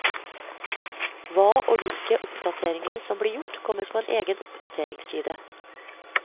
Hva og hvilke oppdateringer som blir gjort kommer på en egen oppdateringsside.